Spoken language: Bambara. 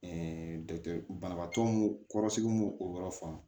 dɔkitɛri banabaatɔ nu kɔrɔsigi n b'o o yɔrɔ faamu